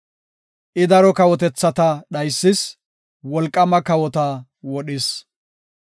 I daro kawotethata dhaysis; wolqaama kawota wodhis.